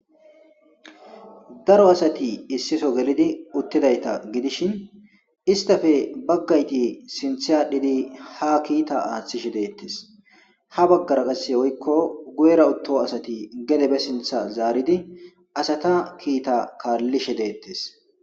Daro asati issi soo gelidi uttidayta gidishin istappe baggayti sinthe adhidi ha kiita aathishe de'etes ha baggara qase woyko guyera utto asati gede be sintha zaaridi asata kiita kaalishe de'etes.